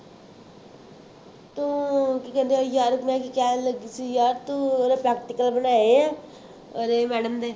ਤੂੰ ਕੀ ਕਹਿੰਦੇ ਆ ਯਾਰ ਮੈਂ ਕੀ ਕਹਿਣ ਲੱਗੀ ਸੀ ਯਾਰ ਤੂੰ ਉਹਦੇ practical ਬਣਾਏ ਆ, ਅਰੇ madam ਨੇ